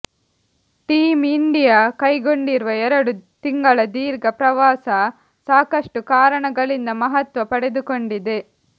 team India ಕೈಗೊಂಡಿರುವ ಎರಡು ತಿಂಗಳ ದೀರ್ಘ ಪ್ರವಾಸ ಸಾಕಷ್ಟು ಕಾರಣಗಳಿಂದ ಮಹತ್ವ ಪಡೆದುಕೊಂಡಿದೆ